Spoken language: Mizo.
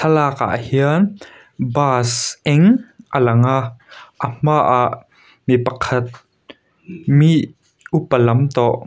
thlalak ah hian bus eng a lang a a hma ah mi pakhat mii upa lam tawh--